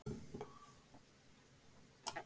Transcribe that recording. það getur verið hættulegt að fikta í útvarpi eða slíku